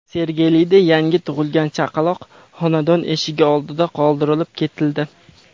Sergelida yangi tug‘ilgan chaqaloq xonadon eshigi oldida qoldirib ketildi.